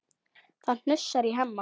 Það hnussar í Hemma.